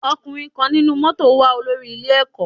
Ọkùnrin kan nínú mótò ń wá olórí ilé ẹ̀kọ́.